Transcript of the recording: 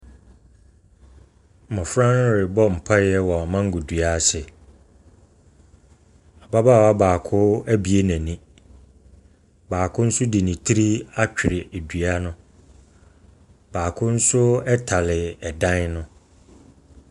Mmɔfra ɛrebɔ mpaeɛ wɔ mango dua ase, Ababaawa baako abue n’ani, baako nso de ne tiri atwere dua no, baako nso tare dan no.